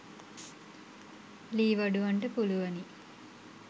ලී වඩුවන්ට පුළුවනි.